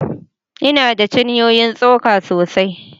Ina da cinyoyin tsoka sosai